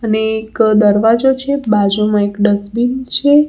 અને એક દરવાજો છે બાજુમાં એક ડસ્ટબીન છે.